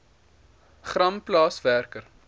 gram plaas werker